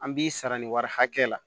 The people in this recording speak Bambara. An b'i sara nin wari hakɛ la